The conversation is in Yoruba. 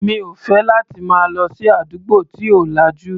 Mi ò fẹ́ láti máa lọ sí àdúgbò tí ò lajú.